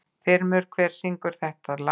Þrymur, hver syngur þetta lag?